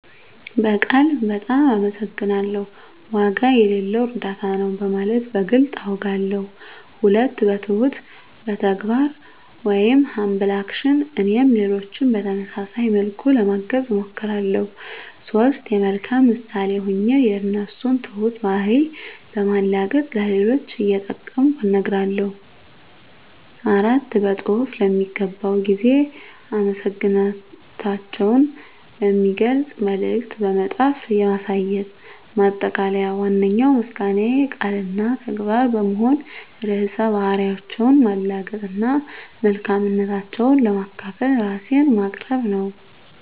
በቃል "በጣም አመሰግናለሁ"፣ "ዋጋ የሌለው እርዳታ ነው" በማለት በግልፅ አውጋለሁ። 2. በትሁት ተግባር (Humble Action) - እኔም ሌሎችን በተመሳሳይ መልኩ ለማገዝ እሞክራለሁ። 3. የመልካም ምሳሌ ሆኜ የእነሱን ትሁት ባህሪ በማላገጥ ለሌሎች እየጠቀምኩ እነግራለሁ። 4. በፅሁፍ ለሚገባው ጊዜ አመሰግናታቸውን የሚገልጽ መልዕክት በመጻፍ ማሳየት። ማጠቃለያ ዋነኛው ምስጋናዬ ቃል እና ተግባር በመሆን ርዕሰ ባህሪያቸውን ማላገጥ እና መልካምነታቸውን ለማካፈል ራሴን ማቅረብ ነው።